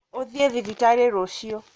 ũthiĩthibitarĩrũcio.